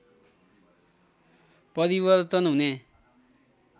परिवर्तन हुने